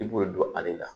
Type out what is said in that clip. I b'o don ale la